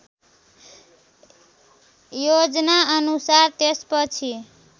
योजना अनुसार त्यसपछि